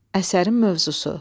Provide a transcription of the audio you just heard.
Əsərin mövzusu.